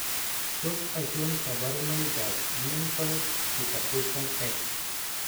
Tos achon kabarunaik ab Mental retardation X?